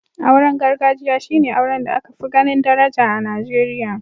Auren gargajiya shi ne auren da aka fi ganin daraja a Nigeriya.